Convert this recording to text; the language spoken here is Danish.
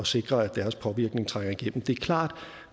sikre at deres påvirkning trænger igennem det er klart at